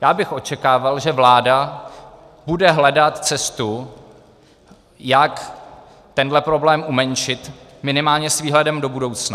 Já bych očekával, že vláda bude hledat cestu, jak tenhle problém umenšit minimálně s výhledem do budoucna.